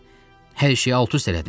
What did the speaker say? Sən hər şeyi alt-üst elədin.